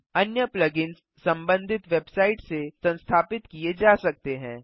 अन्य plugins संबंधित website से संस्थापित किए जा सकते हैं